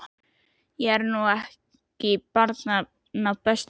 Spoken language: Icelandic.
Ég er nú ekki barnanna bestur, ha.